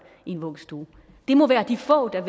i en vuggestue det må være de få der